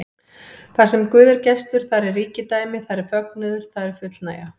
Þarsem Guð er gestur, þar er ríkidæmi, þar er fögnuður, þar er fullnægja.